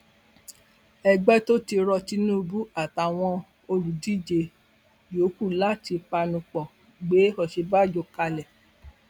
ẹgbẹ tott rọ tinubu àtàwọn olùdíje yòókù láti panu pọ gbé òsínbàjò kalẹ